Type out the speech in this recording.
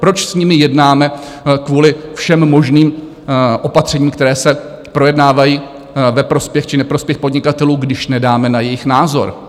Proč s nimi jednáme kvůli všem možným opatřením, která se projednávají ve prospěch či neprospěch podnikatelů, když nedáme na jejich názor?